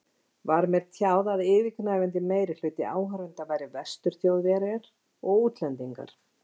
Var mér tjáð að yfirgnæfandi meirihluti áhorfenda væri Vestur-Þjóðverjar og útlendingar.